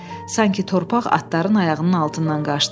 Sanki torpaq atların ayağının altından qaçdı.